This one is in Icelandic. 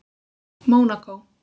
Mónakó